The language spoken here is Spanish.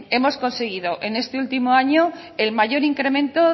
hemos conseguido en este último año el mayor incremento